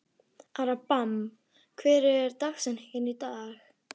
Abraham, hver er dagsetningin í dag?